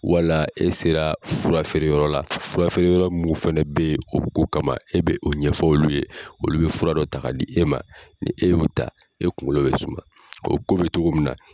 Wala e sera fura feere yɔrɔ la fura feere yɔrɔ mun fɛnɛ bɛ ye o ko kama e bɛ o ɲɛfɔ olu ye olu bɛ fura dɔ ta di e ma ni e y'o ta e kungolo bɛ suma o ko bɛ cogo min na